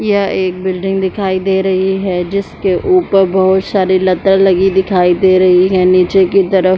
यह एक बिल्डिंग दिखाई दे रही है जिसके ऊपर बहुत सारी लता लगी दिखाई दे रही है नीचे की तरफ--